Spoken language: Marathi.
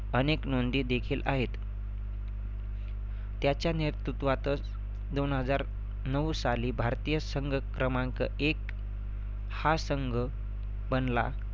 अनेक नोंदी देखील आहेत. त्याच्या नेतृत्वातच दोन हजार नऊ साली भारतीय संघ क्रमांक एक हा संघ बनला.